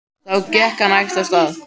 Þá gekk hann hægt af stað.